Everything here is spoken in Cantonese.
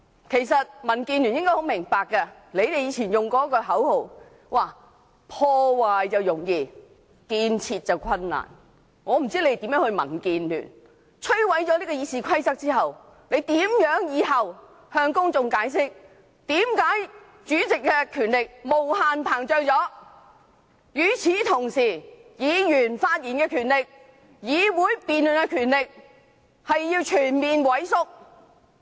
其實民建聯議員應很明白，他們以前常用此口號："破壞容易建設難"，我不知摧毀《議事規則》後，民建聯議員如何向公眾解釋，為何主席的權力無限膨脹，而議員發言的權力、議會辯論的權力卻全面萎縮？